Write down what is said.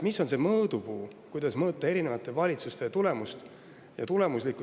Mis on see mõõdupuu, kuidas mõõta erinevate valitsuste tulemuslikkust?